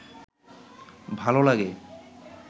ভাল লাগে